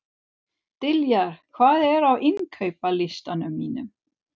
Diljar, hvað er á innkaupalistanum mínum?